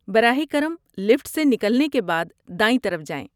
براہ کرم لفٹ سے نکلنے کے بعد دائیں طرف جائیں۔